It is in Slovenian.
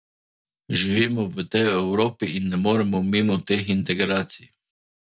Živimo v tej Evropi in ne moremo mimo teh integracij.